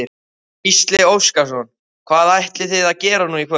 Gísli Óskarsson: Hvað ætlið þið að gera nú í kvöld?